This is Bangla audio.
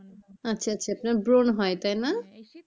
আচ্ছা আচ্ছা আপনার ব্রণ হয় তাই না?